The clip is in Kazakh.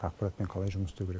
ақпаратпен қалай жұмыс істеу керек